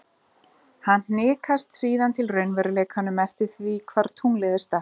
Hann hnikast síðan til í raunveruleikanum eftir því hvar tunglið er statt.